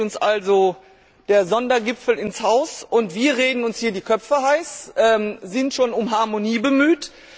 Nun steht uns also der Sondergipfel ins Haus und wir reden uns hier die Köpfe heiß, sind schon um Harmonie bemüht.